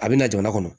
A bɛ na jamana kɔnɔ